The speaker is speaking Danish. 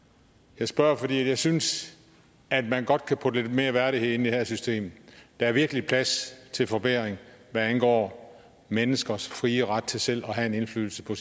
jeg spørger fordi jeg synes at man godt kan putte lidt mere værdighed ind i det her system der er virkelig plads til forbedring hvad angår menneskers frie ret til selv at have en indflydelse på